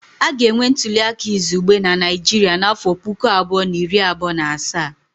A ga-enwe ntuli aka izugbe na Naịjirịa n'afọ puku abụọ na iri abụọ na asaa